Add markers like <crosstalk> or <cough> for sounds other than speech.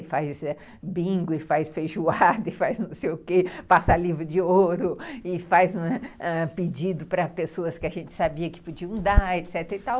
E faz bingo, e faz feijoada, <laughs> e faz não sei o que, passa livro de ouro, e faz pedido para pessoas que a gente sabia que podiam dar, etc.